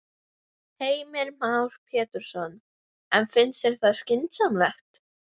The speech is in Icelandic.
Hitt atvikið varð fyrir hlálegt fyrirhyggjuleysi.